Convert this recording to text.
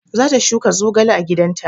Za ta shuka zogale a gidan ta